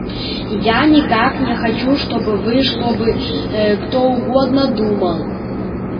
я никак не хочу чтобы вы чтобы кто угодно думал